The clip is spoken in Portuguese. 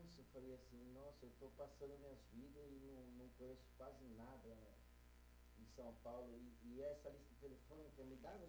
nossa, eu estou passando e não conheço quase nada em São Paulo, e essa lista telefônica